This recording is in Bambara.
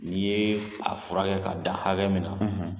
N' i ye a furakɛ k'a dan hakɛ min na